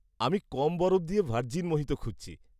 আমি কম বরফ দিয়ে ভার্জিন মোহিতো খুঁজছি।